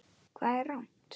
Hvað er rangt?